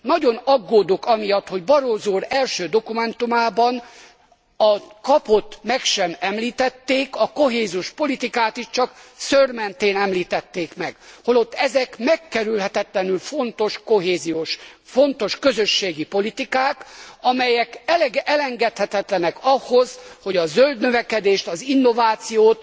Nagyon aggódok amiatt, hogy Barroso úr első dokumentumában a KAP ot meg sem említették, a kohéziós politikát is csak szőrmentén említették meg, holott ezek megkerülhetetlenül fontos kohéziós, fontos közösségi politikák, amelyek elengedhetetlenek ahhoz, hogy a zöld növekedést, az innovációt,